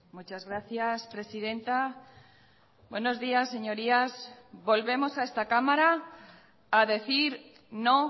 muchas gracias presidenta buenos días señorías volvemos a esta cámara a decir no